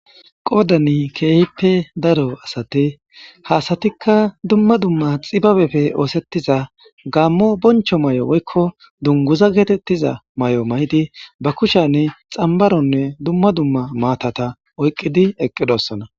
Qoodani keehippe daro asate haasatikka dumma dumma xibabefe oosettiza gammo boncho may7o woykko dunguza geetettiza may7o may7idi ba kushani xambaronne dumma dumma maatata oyqqidi eqqidossana.